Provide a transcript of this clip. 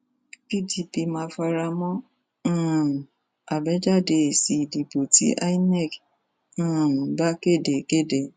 pdp máa fara mọ um àbájáde èsì ìdìbò tí inet um bá kéde kéde